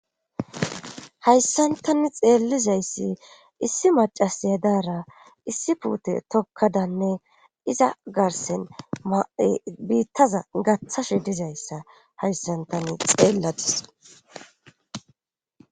Hayssantani xeellizayssi issi macasiya daara issi puute tokkadanne iza garsen mai biittaza gaththashe dizayssa hayssantani xeelladis.